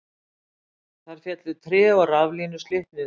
Þar féllu tré og raflínur slitnuðu